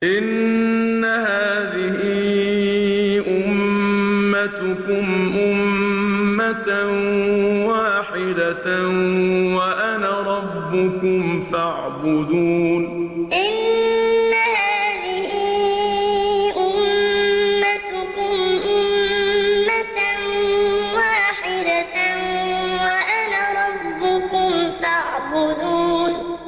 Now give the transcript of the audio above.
إِنَّ هَٰذِهِ أُمَّتُكُمْ أُمَّةً وَاحِدَةً وَأَنَا رَبُّكُمْ فَاعْبُدُونِ إِنَّ هَٰذِهِ أُمَّتُكُمْ أُمَّةً وَاحِدَةً وَأَنَا رَبُّكُمْ فَاعْبُدُونِ